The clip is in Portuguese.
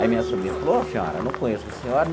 Aí meu sobrinho falou, ô senhora, não conheço a senhora.